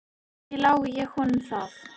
Ekki lái ég honum það.